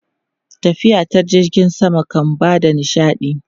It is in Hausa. Tafiya ta jirgin sama kan ba da nishaɗi.